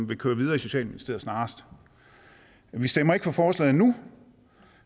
vil køre videre i socialministeriet vi stemmer ikke for forslaget nu